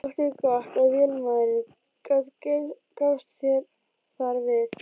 Þótti gott ef vélamaðurinn gat hafst þar við.